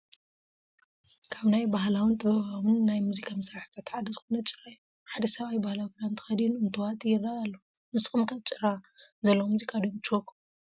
ካብ ናይ ባህላውን ጥበባውን ናይ ሙዚቃ መሳርሕታት ሓደ ዝኾነ ጭራ እዩ፡፡ ሓደ ሰብኣይ ባህላዊ ክዳን ተኸዲኑ እንትዋጥይ ይረአ ኣሎ፡፡ ንስኩም ከ ጭራ ዘለዎ ሙዚቃ ዶ ይምችወኩም?